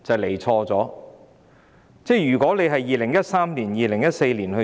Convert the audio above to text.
如果政府在2013年、2014年提交......